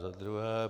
Za druhé.